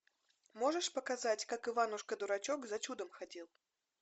можешь показать как иванушка дурачок за чудом ходил